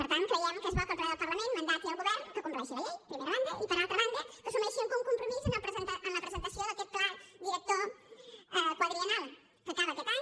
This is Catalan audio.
per tant creiem que és bo que el ple del parlament insti el govern per què compleixi la llei primera banda i per altra banda perquè assumeixi algun compromís en la presentació d’aquest pla director quadriennal que acaba aquest any